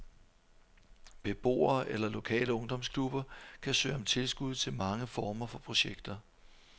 Beboere eller lokale ungdomsklubber kan søge om tilskud til mange former for projekter.